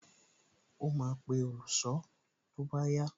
Ó máa pe olùṣọ́ tó bá yá